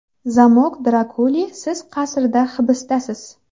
Zamok Drakuli Siz qasrda hibisdasiz.